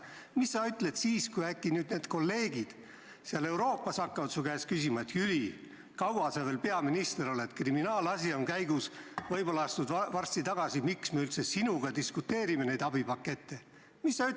Mida sa ütled siis, kui äkki need kolleegid seal Euroopas hakkavad su käest küsima, et Jüri, kaua sa veel peaminister oled, kriminaalasi on käigus, võib-olla astud varsti tagasi, miks me üldse diskuteerime sinuga nende abipakettide üle?